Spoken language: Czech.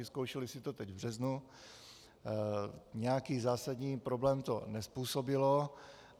Vyzkoušeli si to teď v březnu, nějaký zásadní problém to nezpůsobilo.